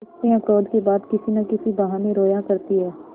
स्त्रियॉँ क्रोध के बाद किसी न किसी बहाने रोया करती हैं